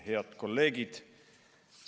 Head kolleegid!